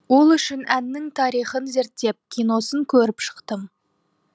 ол үшін әннің тарихын зерттеп киносын көріп шықтым